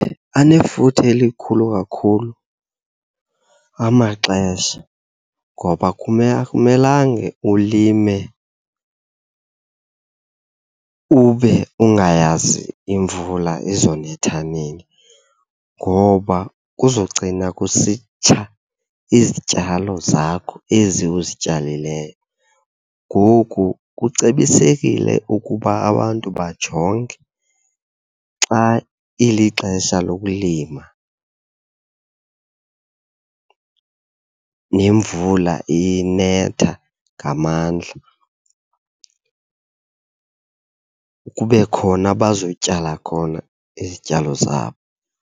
Anefuthe elikhulu kakhulu amaxesha, ngoba akumelange ulime ube ungayazi imvula izonetha nini ngoba kuzogcina kusitsha izityalo zakho ezi uzityalileyo. Ngoku kucebisekile ukuba abantu bajonge xa ilixesha lokulima nemvula iye inetha ngamandla kube khona abazotyala khona izityalo zabo.